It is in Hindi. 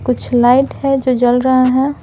कुछ लाइट है जो जल रहा है।